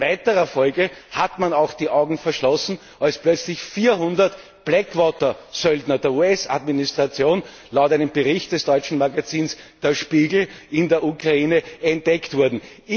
In weiterer Folge hat man auch die Augen verschlossen, als plötzlich 400 Blackwater Söldner der US Administration laut einem Bericht des deutschen Magazins Der Spiegel in der Ukraine entdeckt wurden.